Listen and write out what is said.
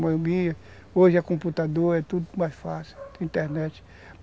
Moibinha, hoje é computador, é tudo mais fácil, tem internet.